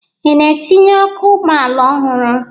Ị na-etinye ọkụ ụgbọala ọhụrụ?